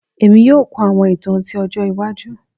Emi yoo kun awọn itan ti ọjọ iwaju